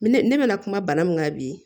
Ne ne bɛ na kuma bana min kan bi